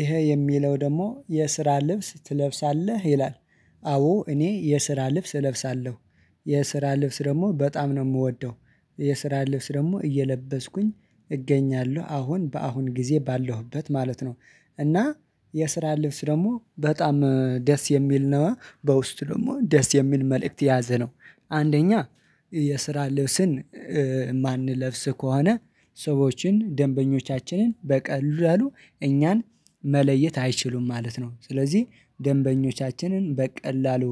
ይሄ የሚለው ደግሞ የስራ ልብስ ትለብሳለህ ይላል? አዎ እኔ የስራ ልብስ እለብሳለሁ የስራ ልብስ ደግሞ በጣም ነው የምወደው። የስራ ልብስ ደግሞ እየለበስኩኝ እገኛለሁ አሁን በአሁን ጊዜ ባለሁበት ማለት ነው። እና የስራ ልብስ ደግሞ በጣም ደስ የሚል ነው በውስጡ ደግሞ ደስ የሚል መልእክት የያዘ ነው። አንደኛ የስራ ልብስን የማንለብስ ከሆነ ሰዎችን ደንበኞቻችንን በቀላሉ እኛን መለየት አይችሉም ማለት ነው። ስለዚህ ደንበኞቻችንን በቀላሉ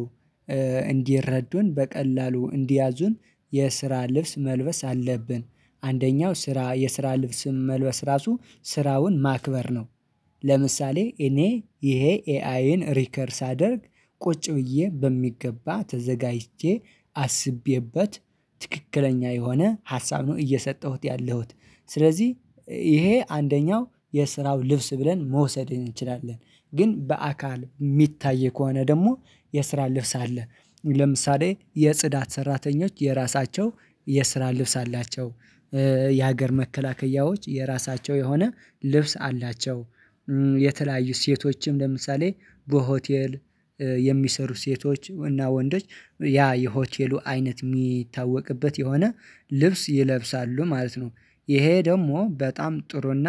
እንዲረዱን በቀላሉ እንዲያዙን የስራ ልብስ መልበስ አለብን። አንደኛው ስራ የስራ ልብስም መልበስ ራሱ ስራውን ማክበር ነው። ለምሳሌ እኔ ይሄ ኤአይን ሪከርድ ሳደርግ ቁጭ ብዬ በሚገባ ተዘጋጅቼ አስቤበት ትክክለኛ የሆነ ሀሳብ ነው እየሰጠሁት ያለሁት ስለዚህ ይሄ አንደኛው የስራው ልብስ ብለን መውሰድ እንችላለን። ግን በአካል የሚታየው ከሆነ ደግሞ የስራ ልብስ አለ። ለምሳሌ የጽዳት ሰራተኞች የራሳቸው የስራ ልብስ አላቸው። የሀገር መከላከያዎች የራሳቸው የሆነ ልብስ አላቸው። የተለያዩ ሴቶችም ለምሳሌ በሆቴል የሚሰሩ ሴቶች እና ወንዶች ያ የሆቴሉ አይነት የሚታወቅበት የሆነ ልብስ ይለብሳሉ ማለት ነው። ይሄ ደግሞ በጣም ጥሩና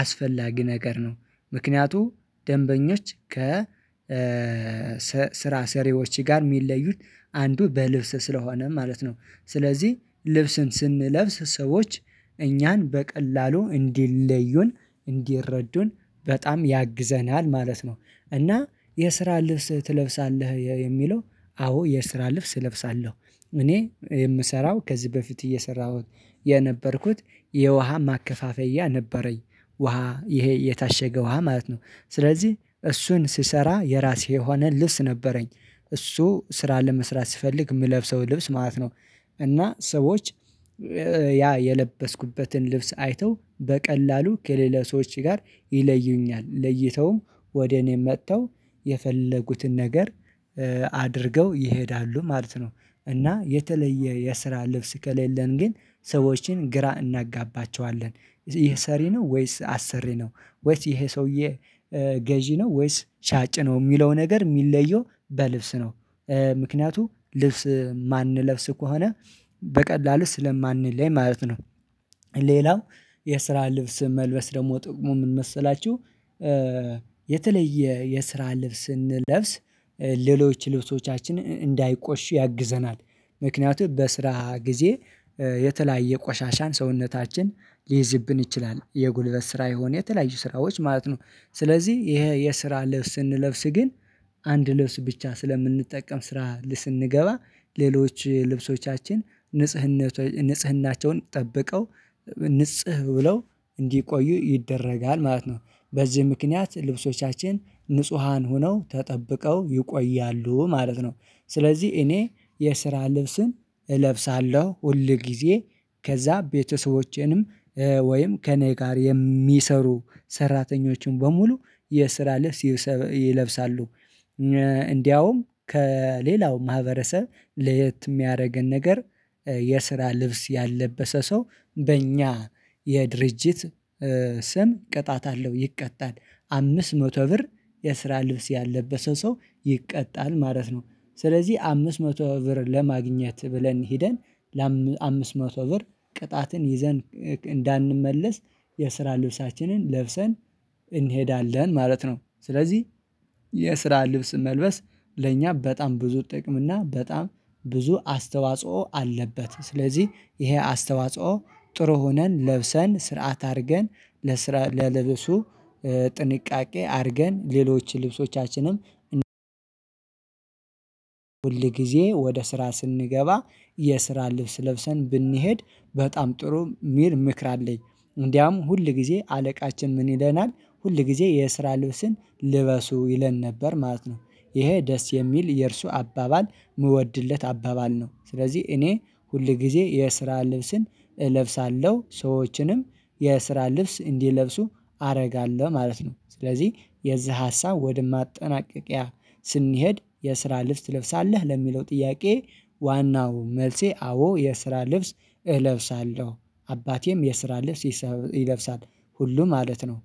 አስፈላጊ ነገር ነው። ምክንያቱም ደንበኞች ከ ስራ ሰሪዎች ጋር የሚለዩት አንዱ በልብስ ስለሆነ ማለት ነው። ስለዚህ ልብስን ስንለብስ ሰዎች እኛን በቀላሉ እንዲለዩን እንዲረዱን በጣም ያግዘናል ማለት ነው። እና የስራ ልብስ ትለብሳለህ የሚለው አዎ የስራ ልብስ እለብሳለሁ። እኔ የምሰራው ከዚህ በፊት እየሰራሁት የነበርኩት የውሃ ማከፋፈያ ነበረኝ። ውሃ ይሄ የታሸገ ውሃ ማለት ነው። ስለዚህ እሱን ስሰራ የራሴ የሆነ ልብስ ነበረኝ። እሱ ስራ ለመስራት ስፈልግ የምለብሰው ልብስ ማለት ነው። እና ሰዎች ያ የለበስኩበትን ልብስ አይተው በቀላሉ ከሌላ ሰዎች ጋር ይለዩኛል ለይተውም ወደ እኔ መጥተው የፈለጉትን ነገር አድርገው ይሄዳሉ ማለት ነው። እና የተለየ የስራ ልብስ ከሌለን ግን ሰዎችን ግራ እናጋባቸዋለን ይሄ ሰሪ ነው ወይስ አሰሪ ነው? ወይስ ይሄ ሰውዬ ገዢ ነው ወይስ ሻጭ ነው የሚለው ነገር የሚለየው በልብስ ነው። ምክንያቱም ልብስ የማንለብስ ከሆነ በቀላሉ ስለማንለኝ ማለት ነው። ሌላው የስራ ልብስ መልበስ ደግሞ ጥቅሙ ምን መሰላችሁ? የተለየ የስራ ልብስ ስንለብስ ሌሎች ልብሶቻችንን እንዳይቆሽሽ ያግዘናል። ምክንያቱም በስራ ጊዜ የተለያየ ቆሻሻን ሰውነታችን ሊይዝብን ይችላል የጉልበት ስራ የሆነ የተለያየ ስራዎች ማለት ነው። ስለዚህ ይሄ የስራ ልብስ ስንለብስ ግን አንድ ልብስ ብቻ ስለምንጠቀም ስራ ስንገባ ሌሎች ልብሶቻችን ንጽህናቸውን ጠብቀው ንጽህ ብለው እንዲቆዩ ይደረጋል ማለት ነው። በዚህ ምክንያት ልብሶቻችን ንጹሃን ሆነው ተጠብቀው ይቆያሉ ማለት ነው። ስለዚህ እኔ የስራ ልብስን እለብሳለሁ ሁል ጊዜ ከዛ ቤተሰቦቼንም ወይም ከእኔ ጋር የሚሰሩ ሰራተኞችን በሙሉ የስራ ልስ ይለብሳሉ። እንዲያውም ከሌላው ማህበረሰብ ለየት የሚያደርገን ነገር የስራ ልብስ ያለበሰ ሰው በእኛ የድርጅት ስም ቅጣት አለው ይቀጣል። አምስት መቶ ብር የስራ ልብስ ያለበሰ ሰው ይቀጣል ማለት ነው። ስለዚህ አምስት መቶ ብር ለማግኘት ብለን ሄደን ለአምስት መቶ ብር ቅጣትን ይዘን እንዳንመለስ የስራ ልብሳችንን ለብሰን እንሄዳለን ማለት ነው። ስለዚህ የስራ ልብስ መልበስ ለእኛ በጣም ብዙ ጥቅም እና በጣም ብዙ አስተዋጽኦ አለበት። ስለዚህ ይሄ አስተዋጽኦ ጥሩ ሆነን ለብሰን ስርዓት አድርገን ለስራ ለልብሱ ጥንቃቄ አድርገን ሌሎች ልብሶቻችንም ሁል ጊዜ ወደ ስራ ስንገባ የስራ ልብስ ለብሰን ብንሄድ በጣም ጥሩ ሚር ምክር አለኝ። እንዲያም ሁል ጊዜ አለቃችን ምን ይለናል ሁል ጊዜ የስራ ልብስን ልበሱ ይለን ነበር ማለት ነው። ይሄ ደስ የሚል የእርሱ አባባል የምወድለት አባባል ነው። ስለዚህ እኔ ሁል ጊዜ የስራ ልብስን እለብሳለሁ ሰዎችንም የስራ ልብስ እንዲለብሱ አደርጋለሁ ማለት ነው። ስለዚህ የዚህ ሀሳብ ወደ ማጠናቀቂያ ስንሄድ የስራ ልብስ ትለብሳለህ ለሚለው ጥያቄ ዋናው መልሴ አዎ የስራ ልብስ እለብሳለሁ። አባቴም የስራ ልብስ ይለብሳል ሁሉ ማለት ነው